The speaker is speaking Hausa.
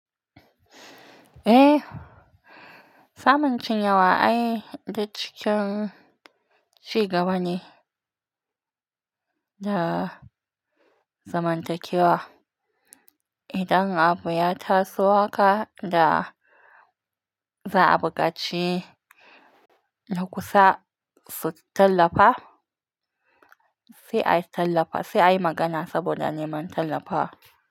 Eh, samuncin yawa ai da cikin cigabani da zamantakewa. Idan abu ya taso haka da za'a buƙaci na kusa su tallafa, sai a yi tallafa, sai a yi magana saboda neman tallafa.